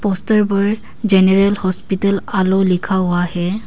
Poster पर general hospital आलो लिखा हुआ है।